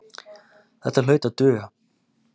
Þetta hlaut að duga.